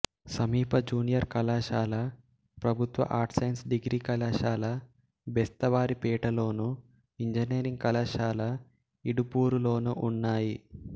సమీప జూనియర్ కళాశాల ప్రభుత్వ ఆర్ట్స్ సైన్స్ డిగ్రీ కళాశాల బెస్తవారిపేటలోను ఇంజనీరింగ్ కళాశాల ఇడుపూరులోనూ ఉన్నాయి